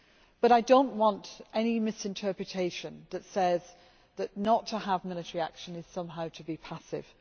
But I do not want any misinterpretation that says that not to have military action is somehow to be passive.